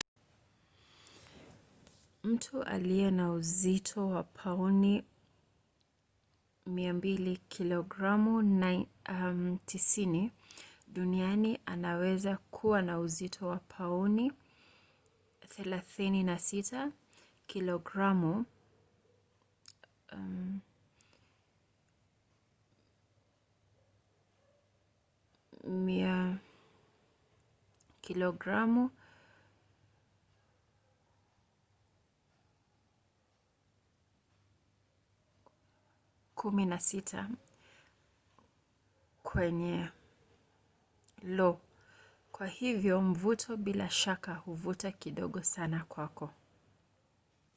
mtu aliye na uzito wa pauni 200 kilogramu 90 duniani anaweza kuwa na uzito wa pauni 36 kilogramu 16 kwenye lo. kwa hivyo mvuto bila shaka huvuta kidogo sana kwako